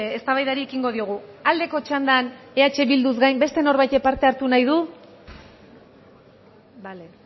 eztabaidari ekingo diogu aldeko txandan eh bilduz gain beste norbaitek parte hartu nahi du bale